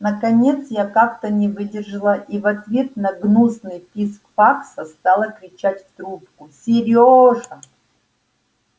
наконец я как-то не выдержала и в ответ на гнусный писк факса стала кричать в трубку серёжа